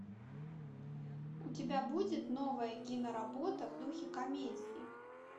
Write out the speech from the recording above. у тебя будет новая киноработа в духе комедии